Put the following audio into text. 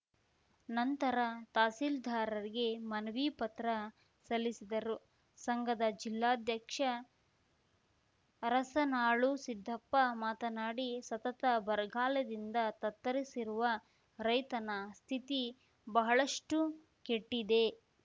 ನಂತರ ತಹಸಿಲ್ದಾರರಿಗೆ ಮನವಿ ಪತ್ರ ಸಲ್ಲಿಸಿದರು ಸಂಘದ ಜಿಲ್ಲಾಧ್ಯಕ್ಷ ಅರಸನಾಳು ಸಿದ್ದಪ್ಪ ಮಾತನಾಡಿ ಸತತ ಬರಗಾಲದಿಂದ ತ್ತರಿಸಿರುವ ರೈತನ ಸ್ಥಿತಿ ಬಹಳಷ್ಟುಕೆಟ್ಟಿದೆ